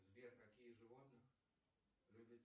сбер каких животных люди